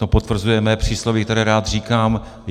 To potvrzuje mé přísloví, které rád říkám.